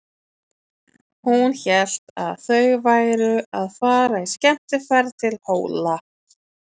Hún hélt að þau væru að fara í skemmtiferð til Hóla.